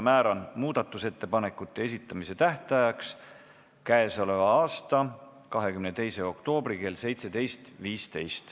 Määran muudatusettepanekute esitamise tähtajaks k.a 22. oktoobri kell 17.15.